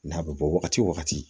N'a bɛ bɔ wagati wo wagati